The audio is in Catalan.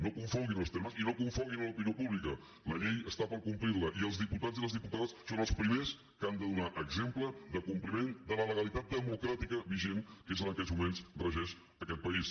no confonguin els termes i no confonguin l’opinió pública la llei està per complirla i els diputats i les diputades són els primers que han de donar exemple de compliment de la legalitat democràtica vigent que és la que en aquests moments regeix aquest país